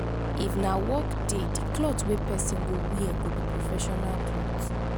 if na work day di cloth wey person go wear go be professional cloth